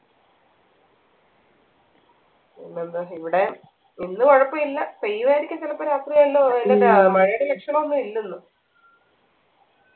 പിന്നെന്താ ഇവിടെ ഇന്ന് കുഴപ്പില്ല പെയ്യുമായിരിക്കും ചിലപ്പോ രാത്രി എല്ലു മഴയുടെ ലക്ഷണം ഒന്നു ഇല്ല ഇന്ന്